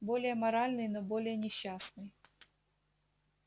более моральный но более несчастный